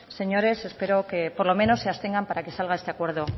señores espero que por lo menos se abstengan para que salga este acuerdo